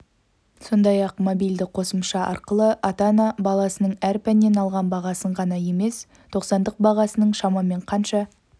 сондай-ақ мобильді қосымша арқылы ата-ана балаласының әр пәннен алған бағасын ғана емес тоқсандық бағасының шамамен қанша